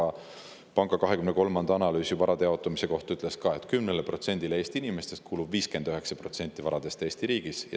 Eesti Panga 2023. aasta analüüs varade jaotumise kohta ütles ka, et 10%‑le Eesti inimestest kuulub 59% varadest Eesti riigis.